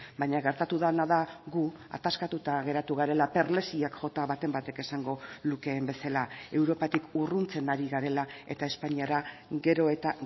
baina gertatu dena da gu ataskatuta geratu garela perlesiak jota baten batek esango lukeen bezala europatik urruntzen ari garela eta espainiara gero eta